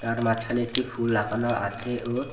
তার মাঝখানে একটি ফুল আকানো আছে ও--